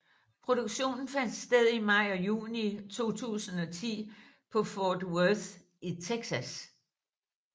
Produktionen fandt sted i maj og juni 2010 på Fort Worth i Texas